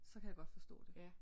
Så kan jeg godt forstå det